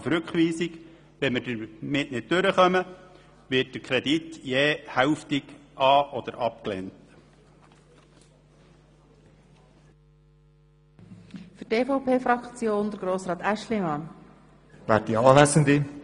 Sollten wir diesen nicht durchbringen, wird der Kredit je hälftig angenommen beziehungsweise abgelehnt.